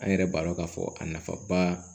An yɛrɛ b'a dɔn k'a fɔ a nafaba